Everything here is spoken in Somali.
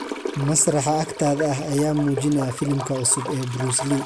masraxa agtaada ah ayaa muujinaya filimka cusub ee bruce lee